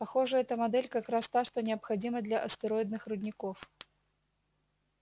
похоже эта модель как раз та что необходима для астероидных рудников